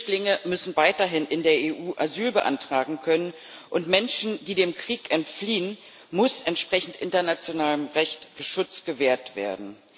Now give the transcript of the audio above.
Flüchtlinge müssen weiterhin in der EU Asyl beantragen können, und Menschen, die dem Krieg entfliehen, muss entsprechend internationalem Recht Schutz gewährt werden.